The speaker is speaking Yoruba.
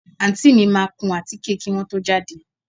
Àǹtí mi máa kún àtíké kí wọ́n tó jáde